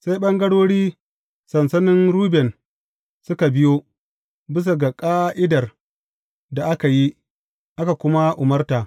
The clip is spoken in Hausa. Sai ɓangarori sansanin Ruben suka biyo, bisa ga ƙa’idar da aka yi, aka kuma umarta.